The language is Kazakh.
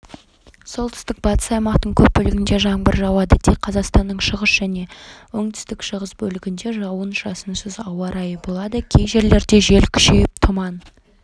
солтүстік-батыс аймақтың көп бөлігінде жаңбыр жауады тек қазақстанның шығыс және оңтүстік-шығыс бөлігінде жауын-шашынсыз ауа райы болады кей жерлерде желл күшейіп тұман